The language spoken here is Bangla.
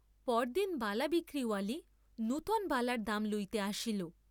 পরদিন বালা বিক্রি ওয়ালী নূতন বালার দাম লইতে আসিল।